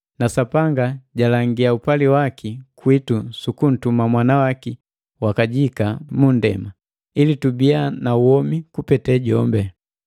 Na Sapanga jalangiya upali waki kwitu sukuntuma Mwana waki wa kajika mu nndema, ili tubiya na womi kupete jombi.